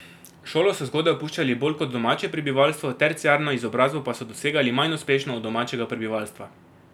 Šolo so zgodaj opuščali bolj kot domače prebivalstvo, terciarno izobrazbo pa so dosegali manj uspešno od domačega prebivalstva.